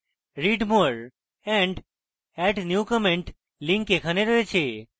read more and add new comment links এখানে রয়েছে